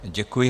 Děkuji.